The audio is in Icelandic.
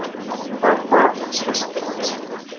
Var það hans besti landsleikur?